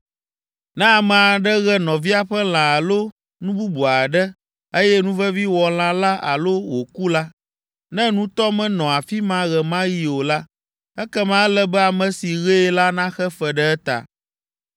“Ne ame aɖe ɣe nɔvia ƒe lã alo nu bubu aɖe, eye nuvevi wɔ lã la alo wòku la, ne nutɔ menɔ afi ma ɣe ma ɣi o la, ekema ele be ame si ɣee la naxe fe ɖe eta.